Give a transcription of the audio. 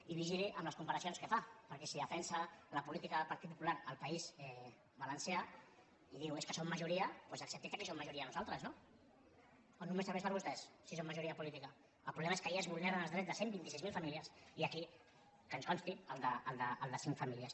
i vigili amb les comparacions que fa perquè si defensa la política del partit popular al país valencià i diu és que són majoria doncs accepti que aquí som majoria nosaltres no o només serveix per a vostès si són majoria política el problema és que allà es vulneren els drets de cent i vint sis mil famílies i aquí que ens consti el de cinc famílies